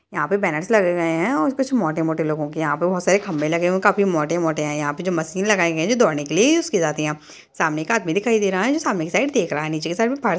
यहाँ पे बैनर लगे हुए हैं और कुछ मोटे-मोटे लोगो के यहाँ पर बहोत सारे खंभे लगे हुए हैं यहाँ पे मोटे-मोटे हैं यहाँ पर मशीन बनी हुई है जो दौड़ने के लिए यूज़ करती है सामने एक आदमी आता हुआ दिखाई देता है जो सामने दिख रहा है नीचे के साइड में --